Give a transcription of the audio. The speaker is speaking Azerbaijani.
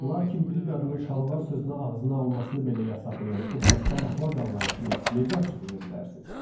Lakin bir qadının şalvar sözünü ağzına almasını belə yasaqlayan o xəstə əxlaq anlayışını necə açıqlaya bilərsiniz?